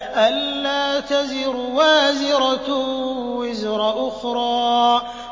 أَلَّا تَزِرُ وَازِرَةٌ وِزْرَ أُخْرَىٰ